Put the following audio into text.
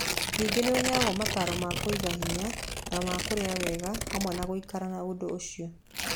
Ningĩ nĩ ũheagwo mataro ma kũiga hinya na ma kũrĩa wega hamwe na gũikara na ũndũ ũcio.